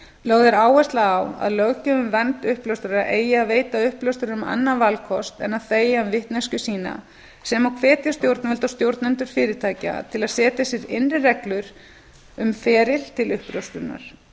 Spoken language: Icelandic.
lögð er áhersla á að löggjöf um vernd uppljóstrara eigi að veita uppljóstrurum annan valkost en að þegja um vitneskju sína sem og hvetja stjórnvöld og stjórnendur fyrirtækja til að setja sér innri reglur um feril til uppljóstrunar